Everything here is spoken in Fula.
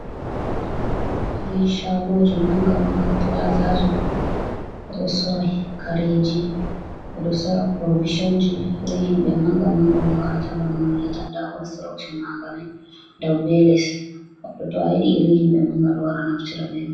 Irin shagoji manga manga plaza ji ɗo. Ɓeɗo sorra kareji, ɓedo sora purovison ji. Irin himɓe manga manga on warata banano, on yi, ata, nda konsrokson manga mai dow be les. Goɗɗo to a yiɗi irn himɓe manga manga ɗo naftira be mai.